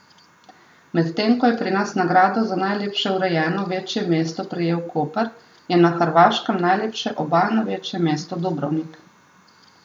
Medtem ko je pri nas nagrado za najlepše urejeno večje mesto prejel Koper, je na Hrvaškem najlepše obalno večje mesto Dubrovnik.